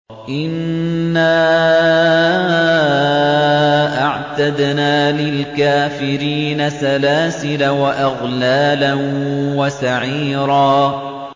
إِنَّا أَعْتَدْنَا لِلْكَافِرِينَ سَلَاسِلَ وَأَغْلَالًا وَسَعِيرًا